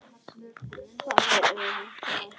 Það eru örlög þetta!